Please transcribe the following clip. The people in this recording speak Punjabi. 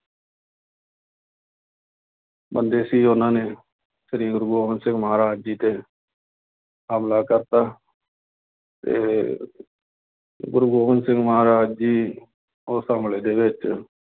ਬੰਦੇ ਸੀ ਉਹਨਾਂ ਨੇ ਸ੍ਰੀ ਗੁਰੂ ਗੋਬਿੰਦ ਸਿੰਘ ਮਹਾਰਾਜ ਜੀ ਤੇ ਹਮਲਾ ਕਰ ਦਿੱਤਾ ਤੇ ਗੁਰੂ ਗੋਬਿੰਦ ਸਿੰਘ ਮਹਾਰਾਜ ਜੀ ਉਸ ਹਮਲੇ ਦੇ ਵਿੱਚ